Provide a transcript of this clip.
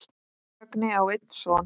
Högni á einn son.